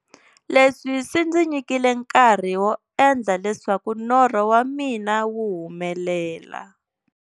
Leswi swi ndzi nyikile nkarhi wo endla leswaku norho wa mina wu humelela.